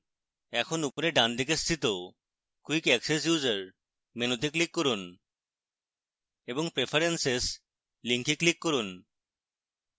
এখন উপরের ডানদিকে স্থিত quick access user মেনুতে click করুন এবং preferences link click করুন